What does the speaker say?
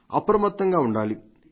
అప్రమత్తంగా ఉండాలి